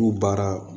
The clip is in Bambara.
K'u baara